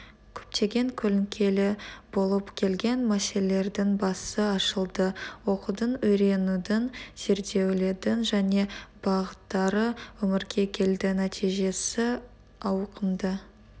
көптеген көлеңкелі болып келген мәселелердің басы ашылды оқудың үйренудің зерделеудің жаңа бағыттары өмірге келді нәтижесі ауқымды